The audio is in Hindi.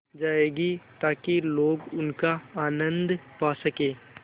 जाएगी ताकि लोग उनका आनन्द पा सकें